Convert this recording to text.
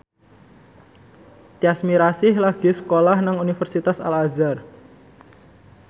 Tyas Mirasih lagi sekolah nang Universitas Al Azhar